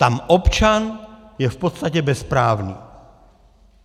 Tam občan je v podstatě bezprávný.